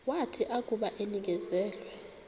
wathi akuba enikezelwe